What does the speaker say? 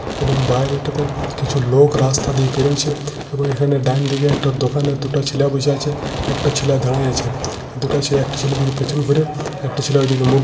এবং বাইরেটাতে কিছু লোক রাস্তা দিয়ে পেরোইছে। এবং এখানে ডাইনদিকে একটা দোকানে দুটা ছেলা বইসাছে। একটা ছেলা দাঁড়াইছে। দুটা ছেলে একটা ছেলের দিকে পেছন করে একটা ছেলে ওদিকে মুখ --